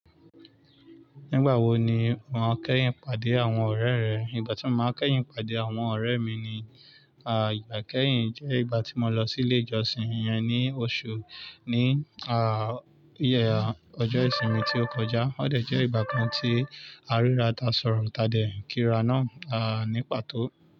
Nígbàwo ni ó máa kẹ́yìn pàdé àwọn ọ̀rẹ́ rẹ? Ìgbà tí mo máa kẹ́yìn pàdé àwọn ọ̀rẹ́ mi ni, ìgbà kẹ́yìn jẹ́ ìgbà tí mo lọ sí ilé ìjọsìn iyẹn ní oṣù ní, iye ọjọ́ ìsinmi tí ó kọjá. Ó dẹ̀ jẹ́ ìgbà kan tí aríra tàsọ̀rọ̀ tàdé kíra náà, ní pàtó.